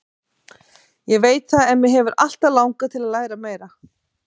Ég veit það en mig hefur alltaf langað til að læra meira.